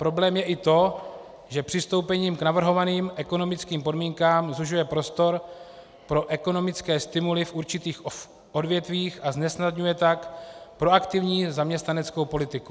Problém je i to, že přistoupení k navrhovaným ekonomickým podmínkám zužuje prostor pro ekonomické stimuly v určitých odvětvích a znesnadňuje tak proaktivní zaměstnaneckou politiku.